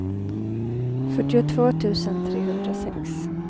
fyrtiotvå tusen trehundrasex